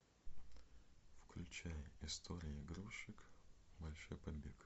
включай история игрушек большой побег